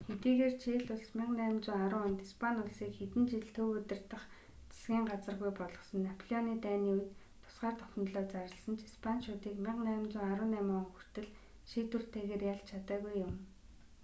хэдийгээр чили улс 1810 онд испани улсыг хэдэн жил төв удирдах засгийн газаргүй болгосон напеолоны дайны үед тусгаар тогтнолоо зарласан ч испаничуудыг 1818 он хүртэл шийдвэртэйгээр ялж чадаагүй юм